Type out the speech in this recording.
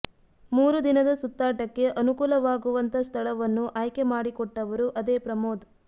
ಮೂರು ದಿನದ ಸುತ್ತಾಟಕ್ಕೆ ಅನುಕೂಲವಾಗುವಂತ ಸ್ಥಳವನ್ನು ಆಯ್ಕೇ ಮಾಡಿಕೊಟ್ಟವರು ಅದೇ ಪ್ರಮೋದ್